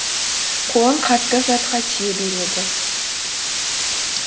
қолым қатты затқа тие береді